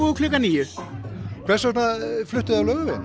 klukkan níunda fluttum af Laugarveginum